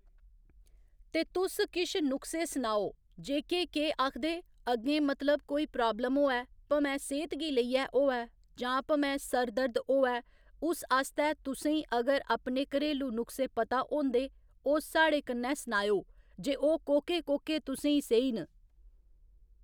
ते तुस किश नुक्से सुनाओ जेह्‌के केह् आखदे अग्गें मतलब कोई प्राब्लम होऐ भमै सेह्‌त गी लेइऐ होऐ जां भमै सर दर्द होऐ उस आस्तै तुसें ई अगर अपने घरेलू नुक्से पता होंदे ओह् साढ़े कन्नै सनाएओ जे ओह् कोह्के कोह्के तुसें ई सेही न